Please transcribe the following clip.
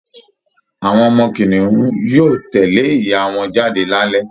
Awọn ọmọ kìnìún yóò tẹ̀lé ìyá wọn jáde lálẹ́